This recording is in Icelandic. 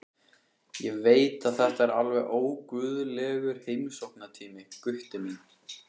Ég veit að þetta er alveg óguðlegur heimsóknartími, Gutti minn.